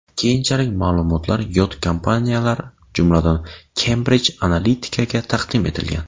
Keyinchalik ma’lumotlar yot kompaniyalar, jumladan Cambridge Analytica’ga taqdim etilgan.